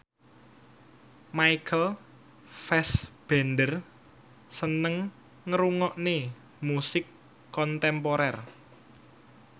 Michael Fassbender seneng ngrungokne musik kontemporer